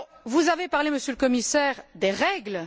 Vous avez parlé, Monsieur le commissaire, des règles.